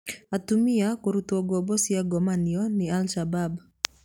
Atumia kũrutwo ngombo cia ngomanio nĩ al-Shabab